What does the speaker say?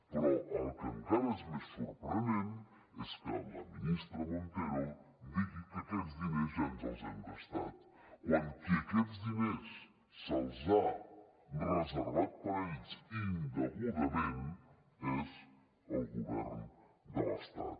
però el que encara és més sorprenent és que la ministra montero digui que aquests diners ja ens els hem gastat quan aquests diners qui se’ls ha reservat per a ell indegudament és el govern de l’estat